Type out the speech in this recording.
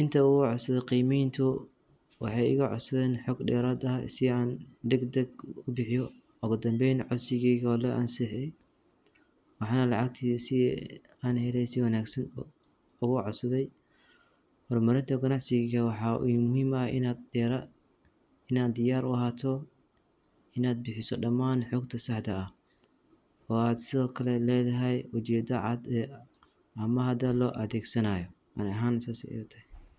Inta uu u cusub qiimayntu waxay igo cas dayn xog dheeraad ah si aan degdeg u bixi oggan beyd casigii hore la aanshahay. Waxaan la akhri yahay si aan helaysan waanagsan ugu casaday marmarado ganacsi jirka. Waxa muhiima ah inaad dheera inaad diyaar u ahaato inaad bixiso dhammaan xogta saada ah oo aad sig kale leedahay bujyada cad ee amma hada loo adeegsanaayo. Maani ahan sasaayatay.